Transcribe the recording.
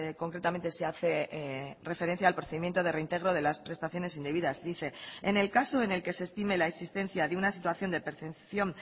concretamente se hace referencia al procedimiento de reintegro de las prestaciones indebidas dice en el caso en el que se estime la existencia de una situación de percepción